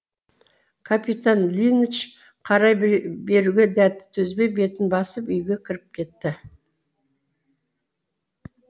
капитан линч қарай беруге дәті төзбей бетін басып үйге кіріп кетті